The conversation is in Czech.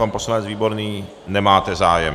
Pan poslanec Výborný nemáte zájem.